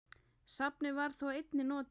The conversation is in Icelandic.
Safnið var þó einnig notað.